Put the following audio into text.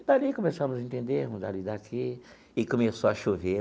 E dali começamos a entendermos ali daqui, e começou a chover.